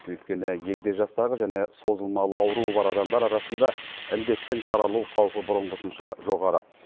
өйткені егде жастағы және созылмалы ауруы бар адамдар арасында індеттің таралу қаупі бұрынғысынша жоғары